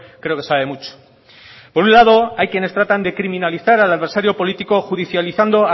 creo que sabe mucho por un lado hay quienes tratan de criminalizar al adversario político judicializando